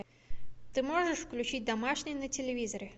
ты можешь включить домашний на телевизоре